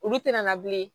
Olu tɛna na bilen